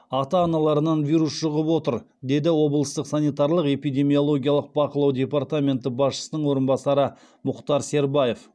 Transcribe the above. ата аналарынан вирус жұғып отыр деді облыстық санитарлық эпидемиологиялық бақылау департаменті басшының орынбасары мұхтар сербаев